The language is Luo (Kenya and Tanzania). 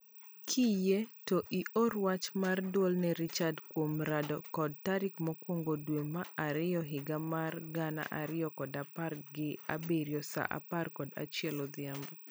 Kiyie to ior wach mar duol ne Richard kwom rado kode tarik mokwongo dwe mar ariyo higa mar gana ariyo kod apar gi abirio saa apar kod achiel odhiambo